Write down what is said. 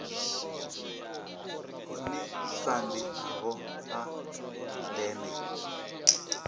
ḽone sambi ḽavho ḽa ndeme